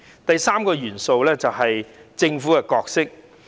第三個元素是政府的角色。